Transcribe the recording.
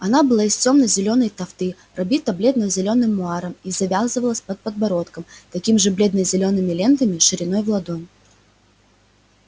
она была из темно-зелёной тафты облита бледно-зелёным муаром и завязывалась под подбородком такими же бледно-зелёными лентами шириной в ладонь